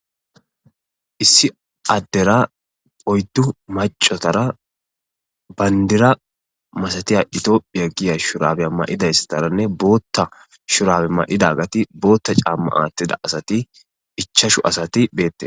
Issi adera oyiddu maccatara banidira massatidda etophiya giya shurabiya mayidayisatarane botha shurabe mayida botha camma athida ichashu assati bettesi